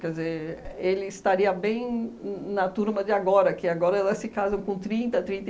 Quer dizer, ele estaria bem na na turma de agora, que agora elas se casam com trinta, trinta